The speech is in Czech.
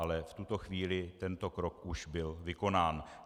Ale v tuto chvíli tento krok už byl vykonán.